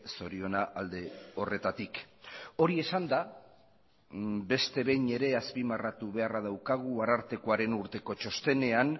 zoriona alde horretatik hori esanda beste behin ere azpimarratu beharra daukagu arartekoaren urteko txostenean